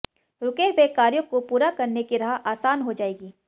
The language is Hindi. रुके हुए कार्यों को पूरा करने की राह आसान हो जाएगी